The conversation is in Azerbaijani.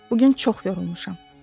Bu gün çox yorulmuşam.